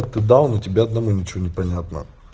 ты даун тебя одному ничего не понятно